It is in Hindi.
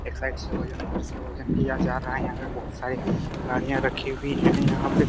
एक साइड से वजन से वजन दिया जा रहा है यहां पे बहुत सारी गाड़िया रखी हुई है यहां पे --